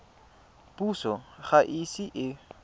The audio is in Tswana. puso ga e ise e